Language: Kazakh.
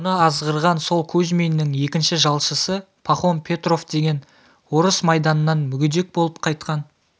мұны азғырған сол кузьминнің екінші жалшысы пахом петров деген орыс майданнан мүгедек болып қайтқан